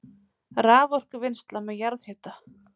Raforkuvinnsla með jarðhita